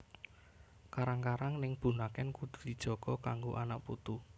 Karang karang ning Bunaken kudu dijaga kanggo anak putu